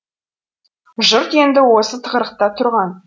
жұрт енді осы тығырықта тұрған